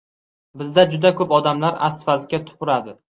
Bizda juda ko‘p odamlar asfaltga tupuradi.